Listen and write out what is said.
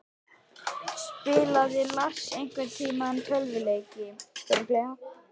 Spilaði Lars einhverntímann tölvuleiki?